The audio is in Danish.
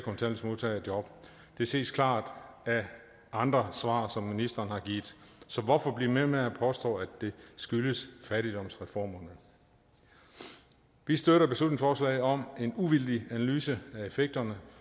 job det ses klart af andre svar som ministeren har givet så hvorfor blive ved med at påstå at det skyldes fattigdomsreformerne vi støtter beslutningsforslaget om en uvildig analyse af effekterne